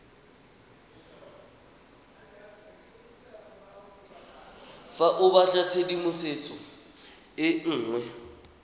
fa o batlatshedimosetso e nngwe